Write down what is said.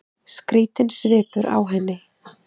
Skrýtinn svipur á henni.